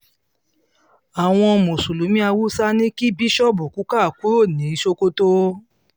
àwọn mùsùlùmí haúsá ní kí bíṣọ́ọ̀bù kukah kúrò ní sokoto